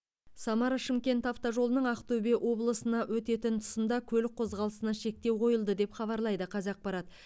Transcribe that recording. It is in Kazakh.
самара шымкент автожолының ақтөбе облысына өтетін тұсында көлік қозғалысына шектеу қойылды деп хабарлайды қазақпарат